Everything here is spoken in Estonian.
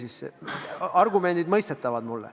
Argumendid on mulle mõistetavad.